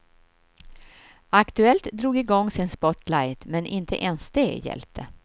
Aktuellt drog igång sin spotlight men inte ens det hjälpte.